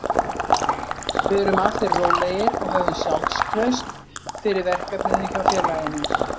Við erum allir rólegir og höfum sjálfstraust fyrir verkefninu hjá félaginu.